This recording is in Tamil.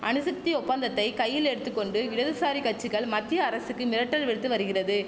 அணுசக்தி ஒப்பந்தத்தை கையில் எடுத்து கொண்டு இடதுசாரி கச்சிகள் மத்திய அரசுக்கு மிரட்டல் விடுத்து வருகிறது